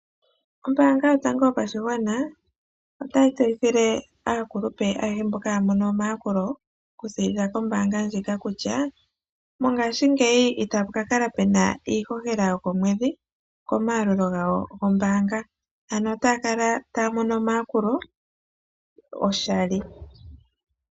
Ombaanga yotango yopashigwana otayi tseyithile aakulupe ayehe mboka haya mono omayakulo okuziiilila kombaanga ndjika kutya mongaashingeyi itapu ka kala pena iihohela yokomwedhi komayalulo gawo kombaanga ano ota ya kala taya mono omayakulo oshali.